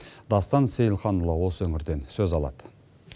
дастан сейлхан ұлы осы өңірден сөз алады